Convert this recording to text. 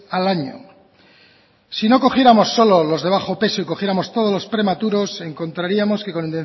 al año si no cogiéramos solo los de bajo peso y cogiéramos todos los prematuros encontraríamos que con